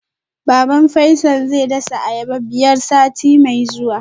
Baban Faisal zai dasa ayaba biyar sati mai zuwa